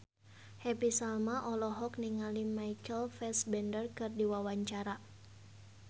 Happy Salma olohok ningali Michael Fassbender keur diwawancara